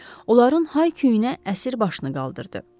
Onların hay-küyünə əsir başını qaldırdı.